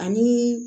Ani